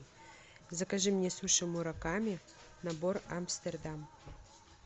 закажи мне суши мураками набор амстердам